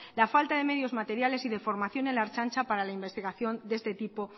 la falta de medios materiales y formación en la ertzaintza para la investigación de este tipo